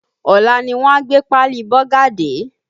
Ọ̀la ni wọ́n a gbé páálí Bọ́gà dé